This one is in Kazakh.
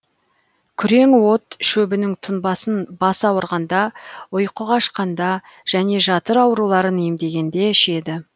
күреңот шөбінің тұнбасын бас ауырғанда ұйқы қашқанда және жатыр ауруларын емдегенде ішеді